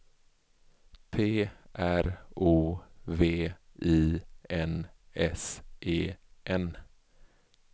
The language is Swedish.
P R O V I N S E N